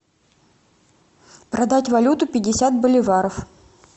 продать валюту пятьдесят боливаров